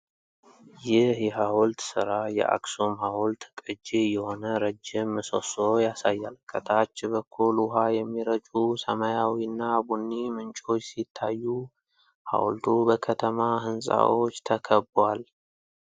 ይህ የሃውልት ስራ የአክሱም ሐውልት ቅጂ የሆነ ረጅም ምሰሶ ያሳያል። ከታች በኩል ውኃ የሚረጩ ሰማያዊና ቡኒ ምንጮች ሲታዩ፣ ሐውልቱ በከተማ ህንፃዎች ተከቧል።